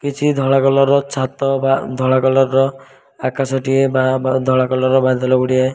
କିଛି ଧଳା କଲର ର ଛାତ ବା ଧଳା କଲର ର ଆକାଶ ଟିଏ ବା ଧଳା କଲର ର ବାଦଲ ଗୁଡ଼ିଏ --